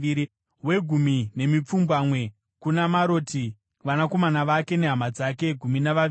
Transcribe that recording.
wegumi nemipfumbamwe kuna Maroti, vanakomana vake nehama dzake—gumi navaviri;